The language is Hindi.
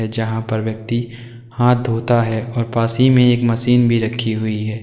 जहां पर व्यक्ति हाथ होता है और पास ही में एक मशीन भी रखी हुई है।